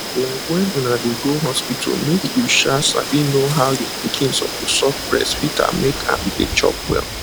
like dey um try new ways to how um your pikin suppose suck your breast go reduce make nipple dey pain you for real